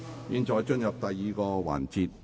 現在進入第二個環節。